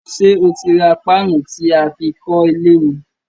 Sé o ti ra paanu tí aá fi kólé ni?